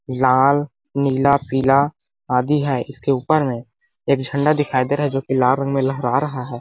लाल नीला पीला आदि है इसके ऊपर में एक झंडा दिखाई दे रहा है जो कि लाल रंग में लहरा रहा है।